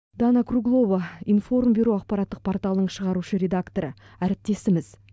дана круглова информбюро ақпараттық порталының шығарушы редакторы әріптесіміз